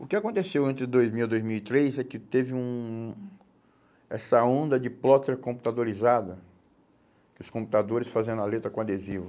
O que aconteceu entre dois mil a dois mil e três é que teve um essa onda de plotter computadorizada, os computadores fazendo a letra com adesivo.